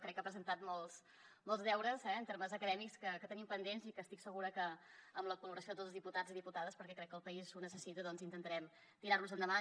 crec que ha presentat molts deures eh en termes acadèmics que tenim pendents i estic segura que amb la col·laboració de tots els diputats i diputades perquè crec que el país ho necessita doncs intentarem tirar los endavant